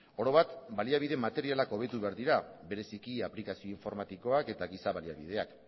orobat baliabide materialak hobetu behar dira bereziki aplikazio informatikoak eta giza baliabideak